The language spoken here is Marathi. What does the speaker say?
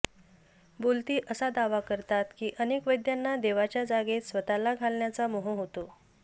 बोल्ती असा दावा करतात की अनेक वैद्यांना देवाच्या जागेत स्वतःला घालण्याचा मोह होतो